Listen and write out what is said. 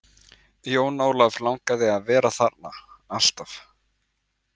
Jón Ólaf langaði til að vera þarna, alltaf.